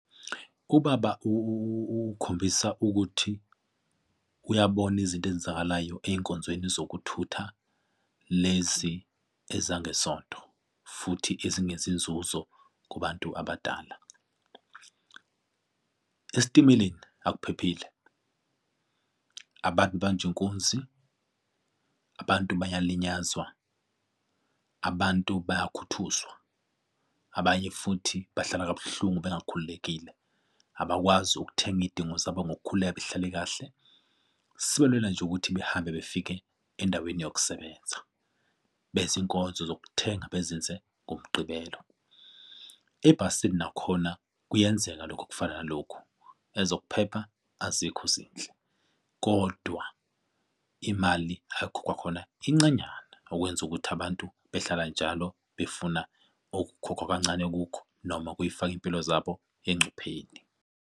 Ubaba ukhombisa ukuthi uyabona izinto ezenzakalayo ey'nkonzweni zokuthutha lezi ezangesonto futhi ezinezinzuzo kubantu abadala. Esitimeleni akuphephile, abantu babanjwa inkunzi, abantu bayalinyazwa, abantu bayakhuthuzwa, abanye futhi bahlala kabuhlungu bengakhululekile abakwazi ukuthenga iy'dingo zabo ngokukhululeka behlale kahle, sebelula nje ukuthi behambe befike endaweni yokusebenza benze inkonzo zokuthenga bezenze ngomgqibelo. Ebhasini nakhona kuyenzeka lokho okufana nalokhu ezokuphepha azikho zinhle kodwa imali ayikhokhwa khona incanyana okwenza ukuthi abantu behlala njalo befuna okukhokhwa kancane kukho, noma kufaka iy'mpilo zabo encupheni.